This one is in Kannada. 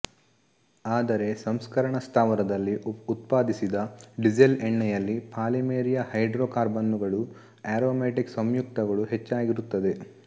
ಆದರೆ ಸಂಸ್ಕರಣ ಸ್ಥಾವರದಲ್ಲಿ ಉತ್ಪಾದಿಸಿದ ಡೀಸಲ್ ಎಣ್ಣೆಯಲ್ಲಿ ಪಾಲಿಮೆರೀಯ ಹೈಡ್ರೋಕಾರ್ಬನ್ನುಗಳೂ ಆರೊಮ್ಯಾಟಿಕ್ ಸಂಯುಕ್ತಗಳು ಹೆಚ್ಚಾಗಿರುತ್ತವೆ